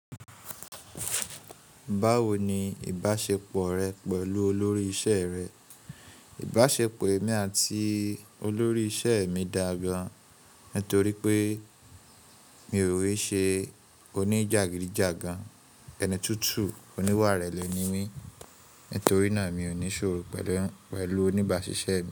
Báwo ni ìbáṣepọ̀ rẹ pẹ̀lú olórí iṣẹ́ rẹ? Ìbáṣepọ̀ èmi àti olórí iṣẹ́ mi dàa gàn nítorí pé mi ò rí ṣe oníjàgídíjàgan, ẹni tútù, oníwà ìrẹ̀lẹ̀ ni mí, nítorí náà mi ò ní ṣòro pẹ̀lú, pẹ̀lú oníbàáṣiṣẹ́ mi.